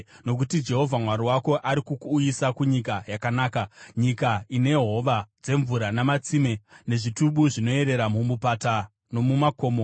Nokuti Jehovha Mwari wako ari kukuuyisa kunyika yakanaka, nyika ine hova dzemvura namatsime, nezvitubu zvinoerera mumupata nomumakomo;